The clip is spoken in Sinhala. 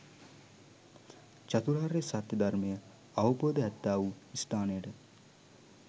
චතුරාර්ය සත්‍ය ධර්මය අවබෝධ ඇත්තාවූ ස්ථානයට